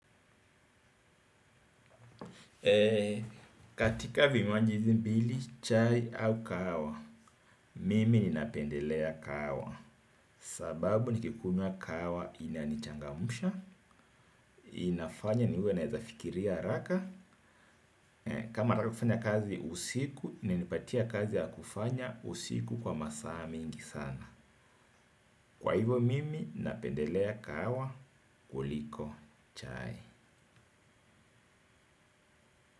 Eee, katika vinywaji hizi mbili, chai au kahawa, mimi ninapendelea kahawa, sababu nikikunywa kahawa inanichangamusha, inafanya niwe naweza fikiria haraka, kama hataki kufanya kazi usiku, inanipatia kazi ya kufanya usiku kwa masaa mingi sana. Kwa hivo mimi, napendelea kahawa, kuliko, chai.